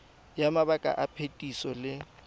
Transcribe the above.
ya mabaka a phetiso le